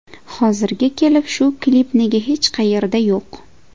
Hozirga kelib shu klip nega hech qayerda yo‘q?